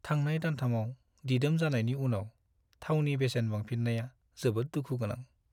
थांनाय दानथामाव दिदोम जानायनि उनाव थावनि बेसेन बांफिन्नाया जोबोद दुखु गोनां।